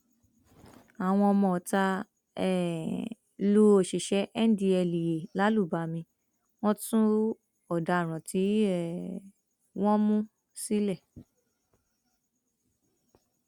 àwọn ọmọọta um lu òṣìṣẹ ndtea làlùbami wọn tú ọdaràn tí um wọn mú sílẹ